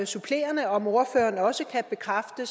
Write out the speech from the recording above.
supplerende om ordføreren også kan bekræfte